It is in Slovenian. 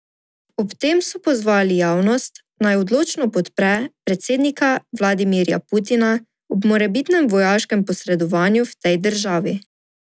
Ob tem so pozvali javnost, naj odločno podpre predsednika Vladimirja Putina ob morebitnem vojaškem posredovanju v tej državi.